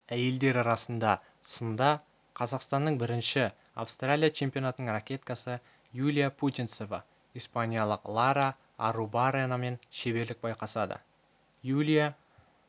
әйелдер арасында сында қазақстанның бірінші австралия чемпионатының ракеткасы юлия путинцева испаниялық лара арруабарренамен шеберлік байқасады юлия